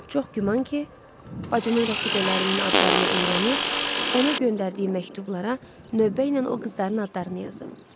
Çox güman ki, bacımın rəfiqələrinin adlarını öyrənib, ona göndərdiyi məktublara növbə ilə o qızların adlarını yazıb.